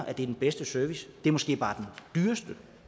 er den bedste service det er måske bare den dyreste